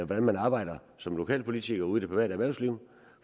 hvordan man arbejder som lokalpolitiker ude i det private erhvervsliv